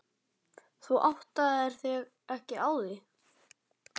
Þú áttaðir þig ekki á því.